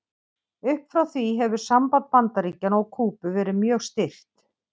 Upp frá því hefur samband Bandaríkjanna og Kúbu verið mjög stirt.